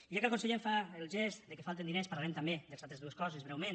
ja que el conseller em fa el gest que falten diners parlarem també de les altres dues coses breument